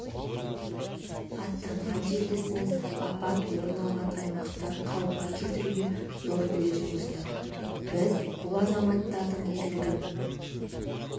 аттанған жерлесіміз апат орын алған аймақты қалыпқа келтіруге зор үлес қосты біз бұл азаматтардың ерлігін